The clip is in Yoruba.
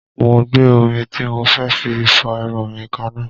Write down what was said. Mo gbé omi tí mo fẹ́ fi fọ irun mi kanná